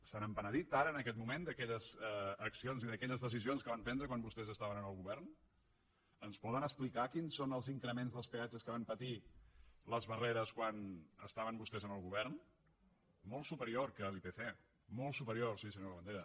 se n’han penedit ara en aquest moment d’aquelles accions i d’aquelles decisions que van prendre quan vostès estaven en el govern ens poden explicar quins són els increments dels peatges que van patir les barreres quan estaven vostès en el govern molt supe rior que l’ipc molt superior sí senyor labandera